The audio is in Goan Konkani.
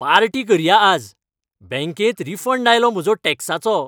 पार्टी करया आज, बँकेंत रिफंड आयलो म्हजो टॅक्साचो.